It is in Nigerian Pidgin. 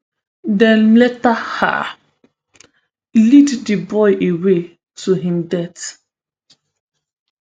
dem later um lead di boy away to im death